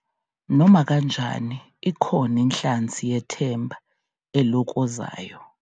Nomakanjani, ikhona inhlansi yethemba elokozayo.